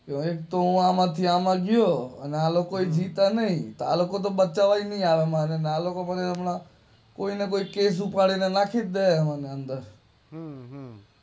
હવે તો હું આમાંથી આમ ગયો આને આલોકો જીતા નાઈ આલોકો આલોકો પછી હમણાં કોઈ ને કોઈ કેસવેસ આપીને અંદર